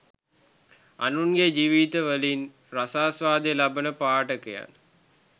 අනුන්ගේ ජීවිත වලින් රසාස්වාදය ලබන පාඨකයන්